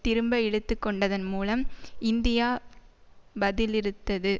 திரும்ப இழுத்து கொண்டதன் மூலம் இந்தியா பதிலிறுத்தது